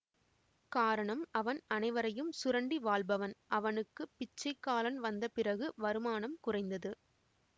காரணம் அவன் அனைவரையும் சுரண்டி வாழ்பவன் அவனுக்கு பிச்சைக்காலன் வந்தபிறகு வருமானம் குறைந்தது